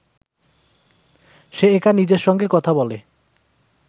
সে একা নিজের সঙ্গে কথা বলে